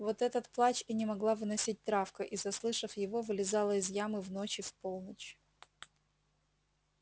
вот этот плач и не могла выносить травка и заслышав его вылезала из ямы в ночь и в полночь